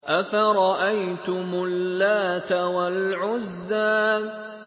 أَفَرَأَيْتُمُ اللَّاتَ وَالْعُزَّىٰ